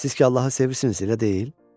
Siz ki, Allahı sevirsiz, elə deyil?